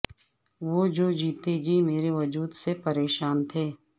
وہ جو جیتے جی میرے وجود سے پریشاں تھے